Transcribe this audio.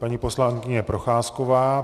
Paní poslankyně Procházková.